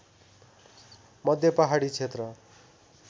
मध्ये पहाडी क्षेत्र